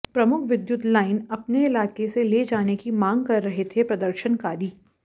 प्रमुख विद्युत लाइन अपने इलाके से ले जाने की मांग कर रहे थे प्रदर्शनकारी